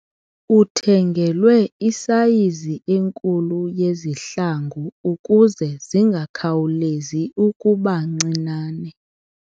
Uthengelwe isayizi enkulu yezihlangu ukuze zingakhawulezi ukuba ncinane.